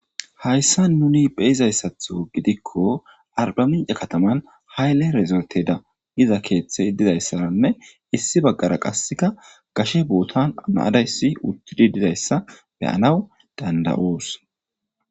Hayssan nuni be'izaysatho goddikko arbbamincce kattaman hayile erizorteda giza keththeyi dizzayisanne issi bagarakka gashe bottan na'a dayissi uttidi dizzayisa be'anaw danda'oss.